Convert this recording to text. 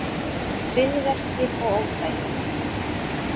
Kviðverkir og óþægindi